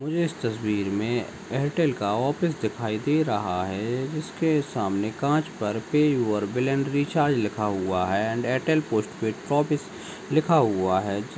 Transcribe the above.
मुझे इस तस्वीर में एयरटेल का ऑफिस दिखाई दे रहा है इसके सामने कांच पर पे और रिचार्ज लिखा हुआ है एण्ड एयरटेल पोस्टपेड ऑफिस लिखा हुआ है।